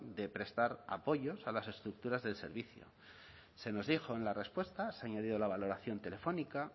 de prestar apoyos a las estructuras del servicio se nos dijo en la respuesta se ha añadido la valoración telefónica